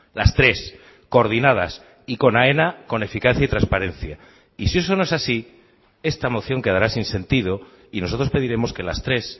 las tres coordinadas y con aena con eficacia y transparencia y si eso no es así esta moción quedará sin sentido y nosotros pediremos que las tres